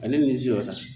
Ale ni shɔ san